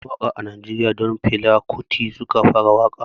Yawancin mawaƙa a najeriya don fela kuti suka fara waƙa